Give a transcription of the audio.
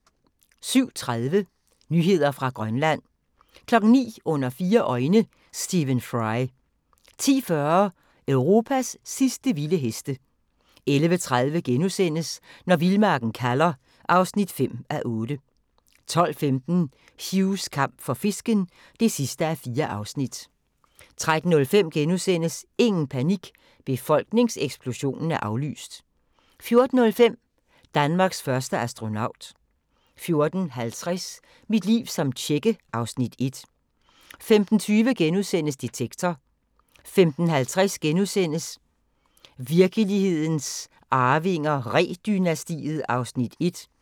07:30: Nyheder fra Grønland 09:00: Under fire øjne – Stephen Fry 10:40: Europas sidste vilde heste 11:30: Når vildmarken kalder (5:8)* 12:15: Hughs kamp for fisken (4:4) 13:05: Ingen panik – befolkningseksplosionen er aflyst! * 14:05: Danmarks første astronaut 14:50: Mit liv som tjekke (Afs. 1) 15:20: Detektor * 15:50: Virkelighedens Arvinger: Ree-dynastiet (1:6)*